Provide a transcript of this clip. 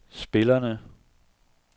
spillerne